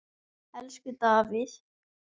Elsku Davíð.